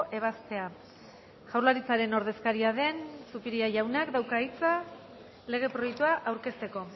ebazpena jaurlaritzaren ordezkaria den zupiria jaunak dauka hitza lege proiektua aurkezteko